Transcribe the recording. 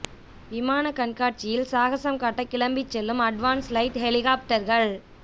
விமான கண்காட்சியில் சாகஸம் காட்ட கிளம்பிச் செல்லும் அட்வான்ஸ்ட் லைட் ஹெலிகாப்டர்கள்